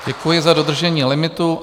Děkuji za dodržení limitu.